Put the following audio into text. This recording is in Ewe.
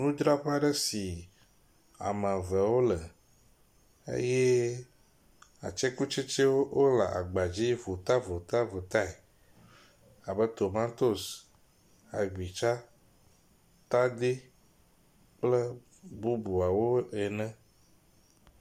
nudraƒe aɖe si ame eve wole eye atsekutsetsi wóle agbadzi vota vota votae abe tomantos tadi agbitsa kple bubuawo ene